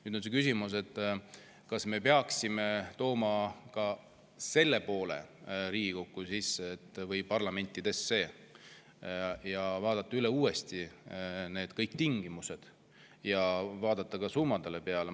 Nüüd on see küsimus, kas me peaksime tooma ka selle Riigikokku või parlamentidesse, et vaadata uuesti üle kõik need tingimused ja vaadata summadele peale.